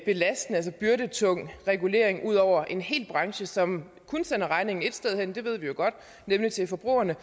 belastende altså byrdetung regulering ud over en hel branche som kun sender regningen et sted hen og det ved vi jo godt nemlig til forbrugerne